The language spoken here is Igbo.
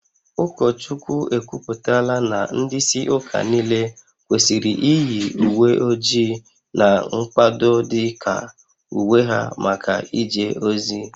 Ụkọchukwu ekwupụtala na ndị isi ụka niile kwesịrị iyi uwe ojii na mkpado dị ka uwe ha maka ije ozi